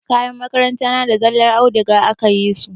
Kayan makaranta na da zallar audiga aka yi su.